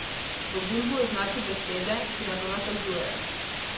V gumbu označi besede, ki na to nakazujejo.